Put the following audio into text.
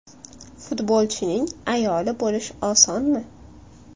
Futbolchining ayoli bo‘lish osonmi?